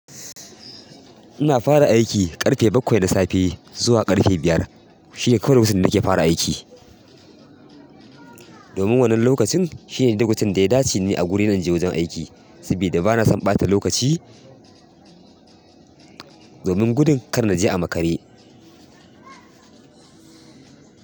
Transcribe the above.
Ina fara aiki ƙarfe bakwai na safe zuwa ƙarfe biyar. Shi ne kawai lokacin da nake fara aiki. Domin wannan lokacin shine lokacin da ya dace ni a guri zan je wajen aiki, saboda bana son ɓata lokaci domin gudun kar na je a makare.